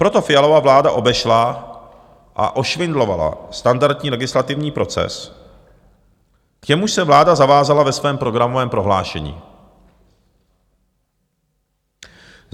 Proto Fialova vláda obešla a ošvindlovala standardní legislativní proces, k němuž se vláda zavázala ve svém programovém prohlášení.